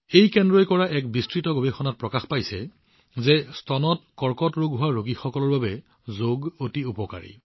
এই কেন্দ্ৰৰ দ্বাৰা কৰা এক বিস্তৃত গৱেষণাই প্ৰকাশ কৰিছে যে স্তনৰ কৰ্কট ৰোগীসকলৰ বাবে যোগ অতি কাৰ্যকৰী